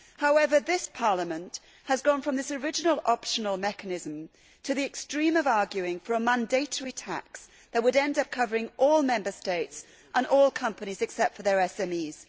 However, this Parliament has gone from this original optional mechanism to the extreme of arguing for a mandatory tax that would end up covering all Member States and all companies, except for their SMEs.